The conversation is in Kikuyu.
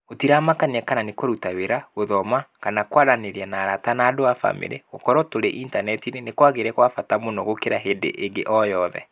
Gũtiamakanagia kana nĩkũruta wĩra, gũthoma, kana kwaranĩria na arata na andũ a famĩlĩ. Gũkorũo tũrĩ Intaneti-inĩ nĩ kwagĩire kwa bata mũno gũkĩra hĩndĩ ĩngĩ o yothe.